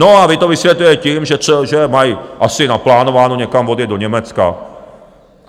No a vy to vysvětlujete tím, že mají asi naplánováno někam odjet do Německa.